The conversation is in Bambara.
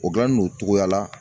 O gilanni don o cogoya la